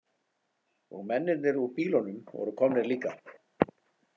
Og mennirnir úr bílunum voru komnir líka.